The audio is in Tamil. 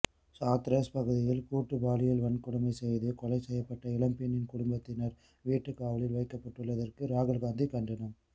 ஹாத்ரஸ் பகுதியில் கூட்டுப்பாலியல் வன்கொடுமை செய்து கொலை செய்யப்பட்ட இளம்பெண்ணின் குடும்பத்தினர் வீட்டுக்காவலில் வைக்கப்பட்டுள்ளதற்கு ராகுல்காந்தி கண்டனம்